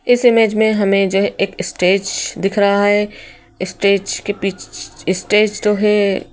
इस इमेज में हमें जो है एक स्टेज दिख रहा स्टेज के पी स्टेज तो है।